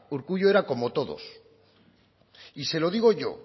urkullu era como todos y se lo digo yo